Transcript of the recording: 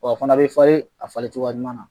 a fana be falen a falen cogoya ɲuman na.